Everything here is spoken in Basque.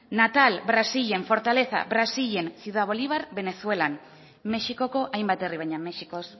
natal brasilen fortaleza brasilen ciudad bolivar venezuelan mexikoko hainbat herri baina mexikoz